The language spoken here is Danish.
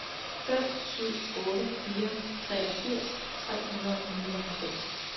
fem syv otte fire treogfirs tre hundrede og nioghalvfems